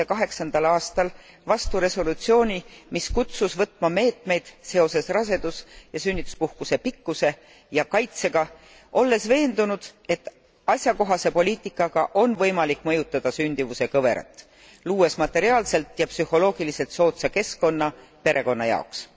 aastal vastu resolutsiooni, mis kutsus võtma meetmeid seoses rasedus ja sünnituspuhkuse pikkuse ja kaitsega, olles veendunud, et asjakohase poliitikaga on võimalik mõjutada sündivuse kõverat, luues materiaalselt ja psühholoogiliselt soodsa keskkonna perekonna jaoks.